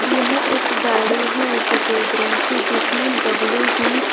यह एक गाड़ी है सफेद रंग की जिसमें डब्ल्यू_बी --